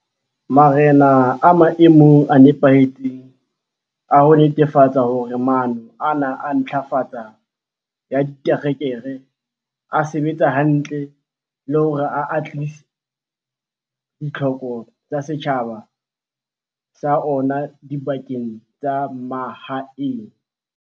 Marena a maemong a nepahetseng a ho netefatsa hore maano ana a ntlafatso ya ditereke a sebetsa hantle le hore a atlehisa ditlhoko tsa setjhaba sa ona dibakeng tsa mahaeng.